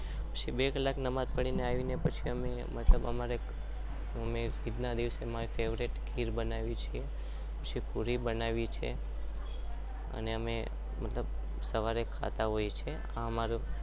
બે કલાક માનજ પઢીને આવીને